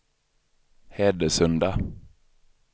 Hedesunda